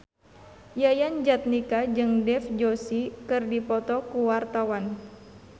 Yayan Jatnika jeung Dev Joshi keur dipoto ku wartawan